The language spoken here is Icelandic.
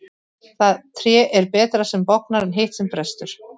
Það tré er betra sem bognar en hitt sem brestur.